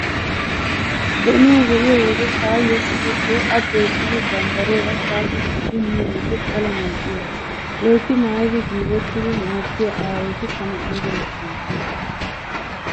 Donuwaa be'iyo wode taayyo qofettiyay A doyssidi bambbariyaara kaashi kaashi miyo wode pala mal"iyoogaa. Loytti maayidi giigettidi hemettiyaa aayoti tana ayba lo'iyoonaa.